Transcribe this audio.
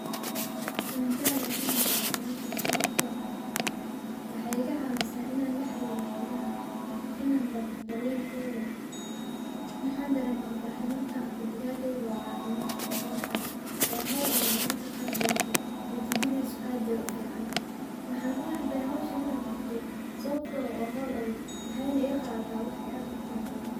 Waan jeclehe inaan qabto howshaan sababto ah waxaay iga caawisaa inaan laxariiro xolaha, inaan barto daryeelkooda. Waxaan dareemaa farxad markaan arka digaageyga oo caafimaad leh oo kora. Waa howl adag mararka qaar balse natiijadiisa aad bay ufiicantahay. Waxaan unecbehe howshaan inaan qabto sababtoo waa howl adag waxaayna iga qaadataa waqti aad utira badan.